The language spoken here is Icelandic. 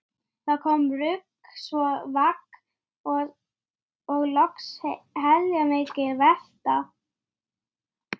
Já, mér sýnist það nægja!